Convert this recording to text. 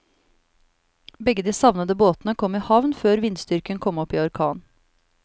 Begge de savnede båtene kom i havn før vindstyrken kom opp i orkan.